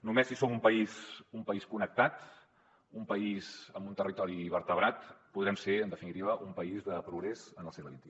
no·més si som un país connectat un país amb un territori vertebrat podrem ser en de·finitiva un país de progrés en el segle xxi